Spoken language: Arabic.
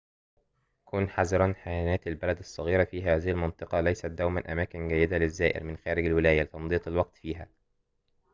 كن حذراً حانات البلدات الصغيرة في هذه المنطقة ليست دوماً أماكن جيّدة للزائر من خارج الولاية لتمضية الوقت فيها